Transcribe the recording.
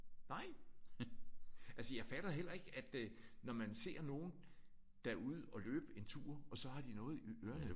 Nej! Altså jeg fatter heller ikke at øh når man ser nogen der er ude at løbe en tur og så har de noget i ørerne